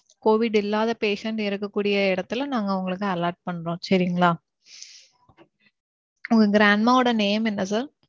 covid இல்லாத patients இருக்க கூடிய எடத்துல நாங்க உங்களுக்கு allot பண்றோம். சரிங்களா. உங்க grandma ஓட name என்ன sir?